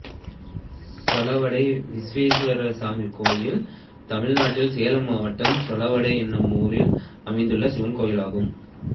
செலவடை வீரேஸ்வரசுவாமி கோயில் தமிழ்நாட்டில் சேலம் மாவட்டம் செலவடை என்னும் ஊரில் அமைந்துள்ள சிவன் கோயிலாகும்